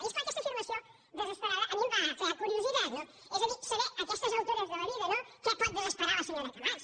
i és clar aquesta afirmació desesperada a mi em va crear curiositat no és a dir saber a aquestes altures de la vida no què pot desesperar la senyora camats